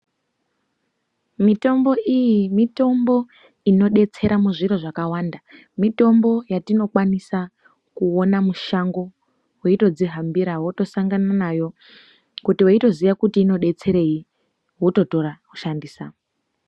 Mitombo iyi mitombo inodetsera muzviro zvakawanda mitombo yatinokwanisa kuona mushango weitodzihambira wotosangana nayo kuti weitoziya kuti inodetserei wototora woshandisa.